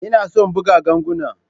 Ina son buga ganguna.